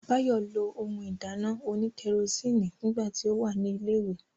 Báyọ̀ lo ohun ìdáná òní kẹrosíìnì nígbà tí ó wà ní ilẹ̀ ìwé